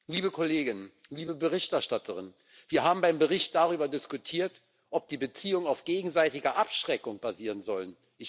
Liebe KollegInnen, liebe Berichterstatterin, wir haben beim Bericht darüber diskutiert, ob die Beziehungen auf gegenseitiger Abschreckung basieren sollen.